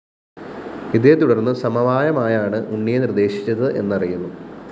ഇതേത്തുടര്‍ന്ന് സമവായമായാണ് ഉണ്ണിയെ നിര്‍ദ്ദേശിച്ചത് എന്നറിയുന്നു